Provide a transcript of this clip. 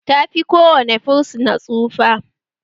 Tafi ko wane fursuna tsufa